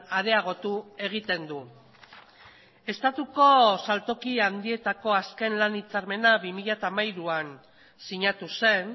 areagotu egiten du estatuko saltoki handietako azken lan hitzarmena bi mila hamairuan sinatu zen